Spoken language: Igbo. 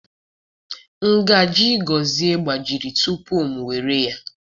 Ngaji gozie gbajiri tupu m ewere ya.